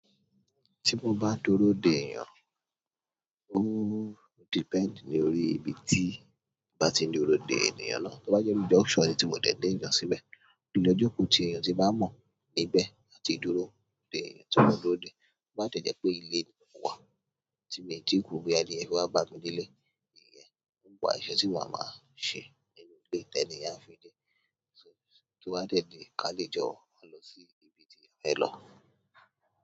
Tí mo bá dúró dè ènìyàn, ó depend ní orí ibi tí mo bá ti ń dúró dè ènìyàn náà. Tí ó bá jẹ́ pé ó jẹ́ auction tí mo dẹ̀ dé ènìyàn síbẹ̀, ilé ìjókòó tí èèyàn tí bá mọ̀ níbẹ̀ á ti dúró dè ènìyàn tí mo máa dúró dè. Ó bá tẹ̀jẹ́ pé ilé mi wà tí mi ò tíì kú, bí ẹni bá fẹ́ bá mi ní ilé, èèyàn ń bọ̀ àṣẹ tí wọ́n á máa ṣe nínú ilé, tẹ́lẹ̀ ni à ń fi dé. Tí ó bá tẹ̀lé ká lè jọ máa lọ sí ibi tí a fẹ́ lọ.